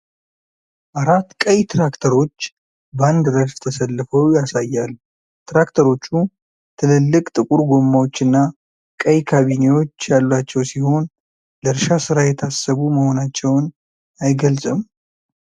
አራት ቀይ ትራክተሮች በአንድ ረድፍ ተሰልፈው ያሳያል፤ ትራክተሮቹ ትልልቅ ጥቁር ጎማዎችና ቀይ ካቢኔዎች ያሏቸው ሲሆን ለእርሻ ሥራ የታሰቡ መሆናቸውን አይገልጽም?